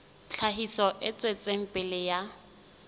tlhahiso e tswetseng pele ya